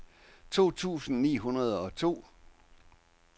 to tusind ni hundrede og to